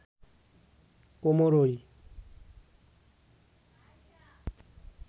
কোমর ওই